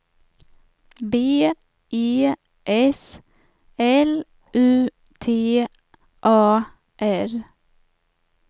B E S L U T A R